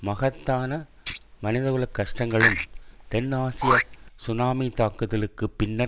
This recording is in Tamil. மகத்தான மனிதகுலக் கஷ்டங்களும் தென் ஆசிய சுனாமி தாக்குதலுக்கு பின்னர்